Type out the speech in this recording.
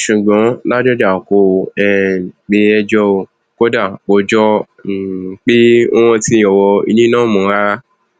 ṣùgbọn ládọjà kò um pé ẹjọ ò kódà kò jọ um pé ó rántí ọrọ ilé náà mọ rárá